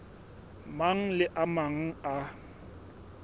mang le a mang a